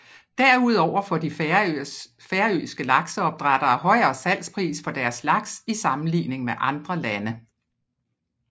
Derudover får de færøske lakseopdrættere højere salgspris for deres laks i sammenligning med andre lande